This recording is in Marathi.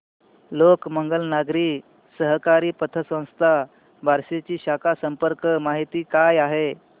लोकमंगल नागरी सहकारी पतसंस्था बार्शी ची शाखा संपर्क माहिती काय आहे